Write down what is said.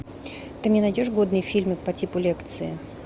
ты не найдешь годные фильмы по типу лекции